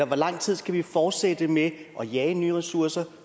hvor lang tid skal vi fortsætte med at jage nye ressourcer